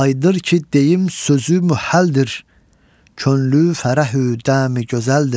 Aydır ki, deyim sözü mühəldir, könlü fərəhü dəmi gözəldir.